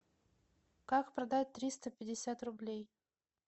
как продать триста пятьдесят рублей